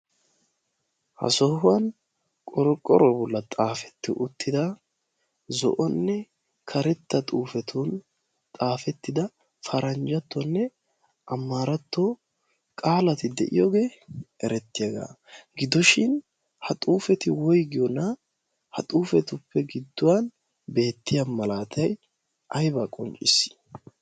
ha sohuwan qorqqorobulla xaafetti uttida zo'onne karetta xuufetun xaafettida paranjjattonne amaaratto qaalati de'iyoogee erettiyaagaa gidoshin ha xuufeti woigiyoona ha xuufetuppe gidduwan beettiya malaatay aybaa qoncciisiis.